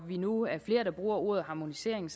vi nu er flere der bruger ordet harmonisering